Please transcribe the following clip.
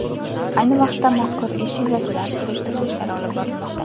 Ayni vaqtda mazkur ish yuzasidan surishtiruv ishlari olib borilmoqda.